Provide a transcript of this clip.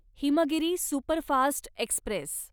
Himgiri superfast Express